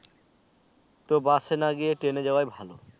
তো bus এ না গিয়ে ট্রেনে যাওয়া ভালো